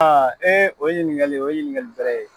o ye ɲininkali o ye ɲininkali bɛrɛ ye.